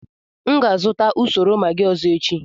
M ga-azụta usoro Maggi ọzọ echi.